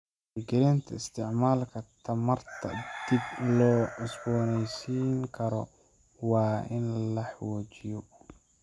Wacyigelinta isticmaalka tamarta dib loo cusbooneysiin karo waa in la xoojiyo.